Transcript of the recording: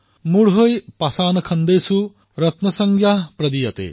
মুঢ়ৈঃ পাষাণখণ্ডেষু ৰত্নসংজ্ঞা প্ৰদীয়তে